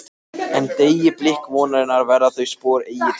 En- deyi blik vonarinnar verða þau spor eigi til.